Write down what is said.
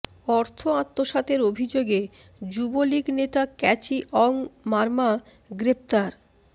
অর্থ আত্মসাতের অভিযোগে যুবলীগ নেতা ক্যাচি অং মারমা গ্রেফতার